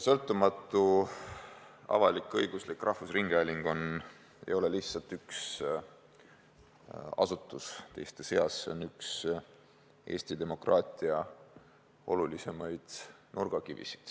Sõltumatu avalik-õiguslik rahvusringhääling ei ole lihtsalt üks asutus teiste seas, see on üks Eesti demokraatia olulisimaid nurgakive.